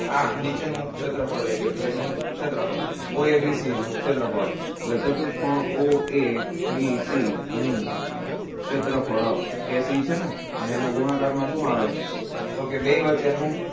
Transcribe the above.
આ નીચે નું ક્ષેત્રફળ લઇ લ્યો બેનું ક્ષેત્રફળ oabc નું ક્ષેત્રફળ એટલે ચતુષ્કોણ oabc નું ક્ષેત્રફળ a c છે ને અને એના ગુણાકાર માં શું આવે તો કે બેય વચ્ચે નું